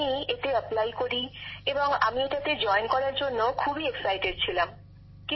আমি এতে আবেদন করি এবং আমি এটাতে যোগ দেবার জন্য আগ্রহী ছিলাম খুবই